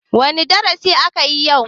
Wane darasi akayi yau?